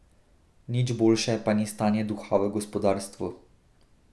Nič boljše pa ni stanje duha v gospodarstvu.